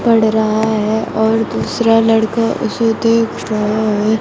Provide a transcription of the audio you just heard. पढ़ रहा है और दूसरा लड़का उसे देख रहा है।